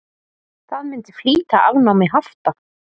Það myndi flýta afnámi hafta.